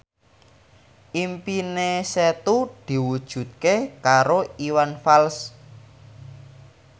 impine Setu diwujudke karo Iwan Fals